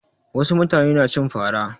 Wasu mutane na cin fa ra.